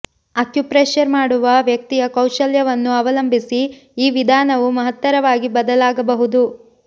acupressure ಮಾಡುವ ವ್ಯಕ್ತಿಯ ಕೌಶಲ್ಯವನ್ನು ಅವಲಂಬಿಸಿ ಈ ವಿಧಾನವು ಮಹತ್ತರವಾಗಿ ಬದಲಾಗಬಹುದು